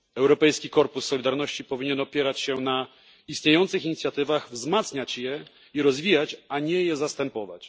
Europejski Korpus Solidarności powinien opierać się na istniejących inicjatywach, wzmacniać je i rozwijać, a nie je zastępować.